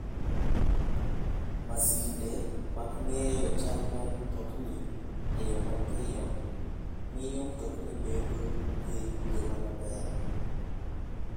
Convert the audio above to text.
Masinde mag ng'eyo chal mar mtokni e yo mapiyo, miyo mtokni bedo gi ngima maber.